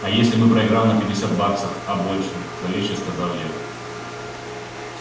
а если бы проиграл не пятьдесят баксов а больше зловеще сказала я